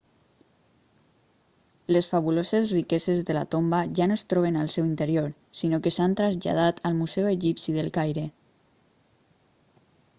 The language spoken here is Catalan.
les fabuloses riqueses de la tomba ja no es troben al seu interior sinó que s'han traslladat al museu egipci del caire